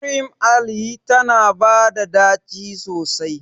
Cream Ale tana bata da daci sosai.